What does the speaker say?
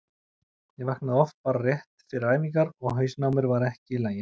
Ég vaknaði oft bara rétt fyrir æfingar og hausinn á mér var ekki í lagi.